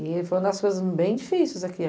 E foi uma das coisas bem difíceis aqui.